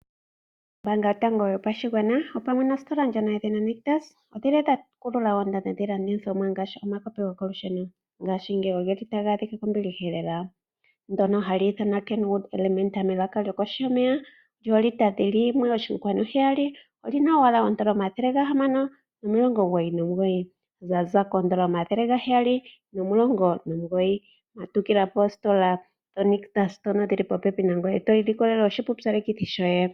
Ombaanga yotango yopashigwana opamwe nostola yedhina Nitus odhili dha kulula oondando dhiilandithomwa ngaashi omakopi gokolusheno, ngashingeyi ogeli taga adhika kombiliha lela . Ekopi ndjono hali ithanwa Kenwood Elementa melaka lyokoshomeya lyo litter 1.7 . Olina owala N$599.00 lyaza ko N$ 719.00 . Matukila poostola dhoNitus ndhono dhili popepi nangoye to ilikolele oshipupyalekithi shoye.